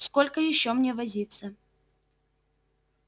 сколько ещё мне возиться